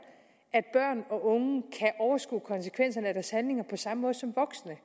at overskue konsekvenserne af deres handlinger på samme måde som voksne